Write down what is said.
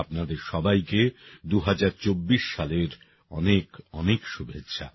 আপনাদের সবাইকে ২০২৪ সালের অনেক অনেক শুভেচ্ছা